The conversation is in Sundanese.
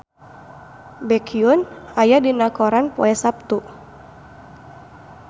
Baekhyun aya dina koran poe Saptu